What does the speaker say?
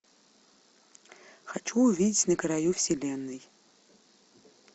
хочу увидеть на краю вселенной